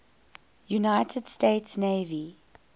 united states navy